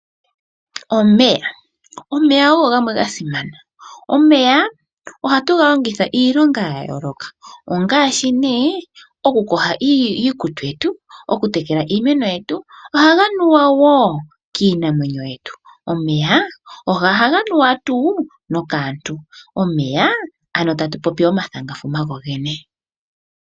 Omeya, omeya ogo gamwe gasimana. Omeya ohatu galongitha iilonga yayooloka ongaashi nee, okuyoga iikutu yetu, oku tekela iimeno yetu, ohaga nuwa woo kiimuna yetu. Omeya ohaga nuwa tuu nokaantu, omeya ano tatu popi omathangafuma gogene.